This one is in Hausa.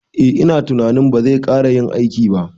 Eh ina tunanin bazai kara yin aiki ba